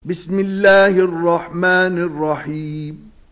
بِسْمِ اللَّهِ الرَّحْمَٰنِ الرَّحِيمِ